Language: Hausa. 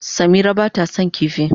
Samira ba ta son kifi.